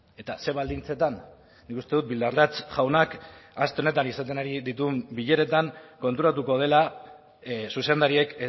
eta zer baldintzetan nik uste dut bildarratz jaunak aste honetan dituen bileretan konturatuko dela zuzendariak